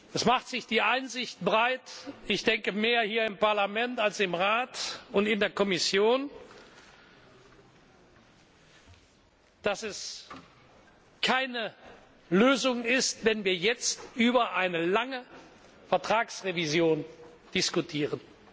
Es macht sich die Einsicht breit ich denke, mehr hier im Parlament als im Rat und in der Kommission dass es keine Lösung ist, wenn wir jetzt über eine lange Vertragsrevision diskutieren.